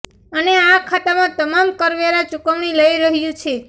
અને આ ખાતામાં તમામ કરવેરા ચુકવણી લઈ રહ્યું છે